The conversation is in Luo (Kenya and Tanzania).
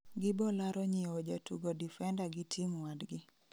Gibolaro nyieo jatugo difenda gi team wadgi